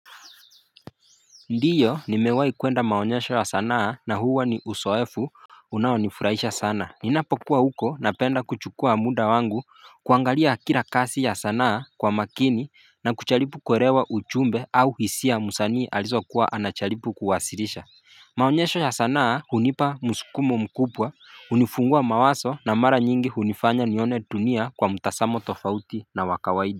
Ndio, nimewahi kuenda maonyesho ya sanaa na huwa ni uzoefu unaonifurahisha sana. Ninapokuwa huko napenda kuchukua muda wangu kuangalia kila kazi ya sanaa kwa makini na kujaribu kuelewa ujumbe au hisia msanii alizokuwa anajaribu kuwasilisha. Maonyesho ya sanaa hunipa msukumo mkubwa, hunifungua mawazo na mara nyingi hunifanya nione dunia kwa mtazamo tofauti na wa kawaida.